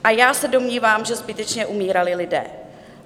A já se domnívám, že zbytečně umírali lidé.